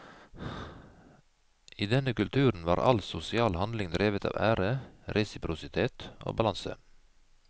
I denne kulturen var all sosial handling drevet av ære, resiprositet og balanse.